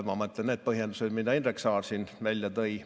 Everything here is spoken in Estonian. Ma mõtlen neid põhjendusi, mida Indrek Saar siin välja tõi.